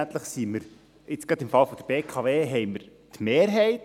Letztendlich haben wir – gerade im Fall der BKW – die Mehrheit.